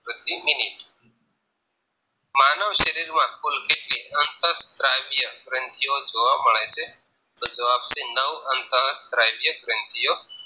પ્રતિ મિનિટ માનવ શરીર માં કુલ કેટલી અંતઃ સ્ત્રાવય ગ્રન્થીઓ જોવા મળે છે તો જવાબ છે નવ અંતઃ સ્ત્રાવય ગ્રન્થીઓ